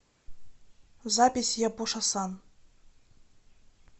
запись япоша сан